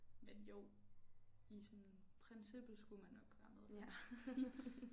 Men jo i sådan princippet skulle man nok være medlem